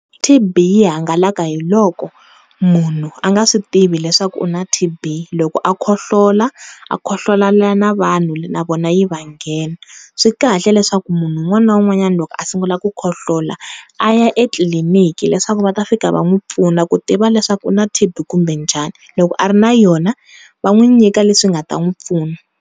TB yi hangalaka hi loko munhu a nga swi tivi leswaku u na TB loko a khohlola a khohlolela na vanhu na vona yi va nghena swi kahle leswaku munhu un'wana na un'wana loko a sungula ku khohlola a ya etliliniki leswaku va ta fika va n'wi pfuna ku tiva leswaku u na TB kumbe njhani loko a ri na yona va n'wi nyika leswi nga ta n'wi pfuna.